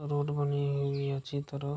Road बनी हुई है अच्छी तरह।